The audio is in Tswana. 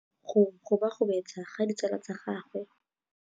Go gobagobetsa ga ditsala tsa gagwe, gore ba tsamaye go dirile gore a lebale tšhelete.